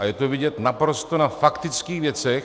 A je to vidět na naprosto faktických věcech.